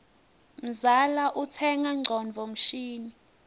mzala utsenga ngcondvo mshini